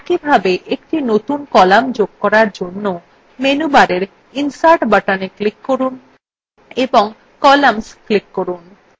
একইভাবে একটি নতুন column যোগ করার জন্য menu bar insert button click করুন এবং columns click করুন